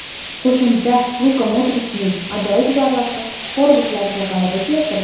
Qo‘shimchasiga Luka Modrichning ajoyib zarbasi xorvatlarga g‘alaba keltirdi.